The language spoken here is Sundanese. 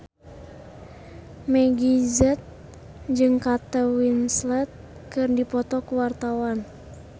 Meggie Z jeung Kate Winslet keur dipoto ku wartawan